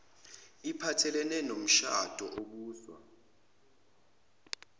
iphathelene nomshado obuswa